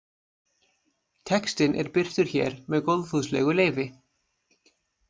Textinn er birtur hér með góðfúslegu leyfi.